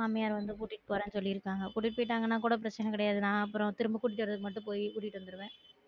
மாமியர் வந்து கூட்டிட்டு போறேன்னு சொல்லி இருக்காங்க கூட்டிட்டு போயிட்டாங்கன்னா கூட பிரச்சன கெடையாது நான் திரும்ப கூட்டிட்டு வரதுக்கு மட்டும் போயி கூட்டிட்டு வந்துருவேன்